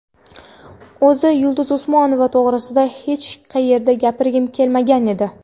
O‘zi Yulduz Usmonova to‘g‘risida hech qayerda gapirgim kelmagan edi.